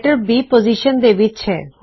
letter B position ਦੋ ਵਿੱਚ ਹੈ